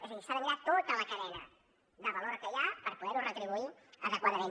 és a dir s’ha de mirar tota la cadena de valor que hi ha per poderho retribuir adequadament